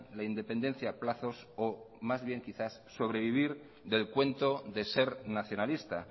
la independencia a plazos o más bien quizás sobrevivir del cuento de ser nacionalista